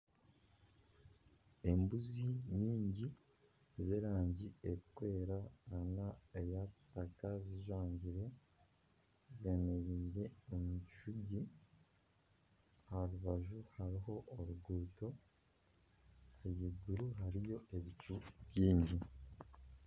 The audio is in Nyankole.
Embuzi nyingi z'erangi erikwera nana eya kitaka zijwangire zemereire omu kishushani aha rubaju hariho oruguuto ahaiguru hariyo ebicu bingi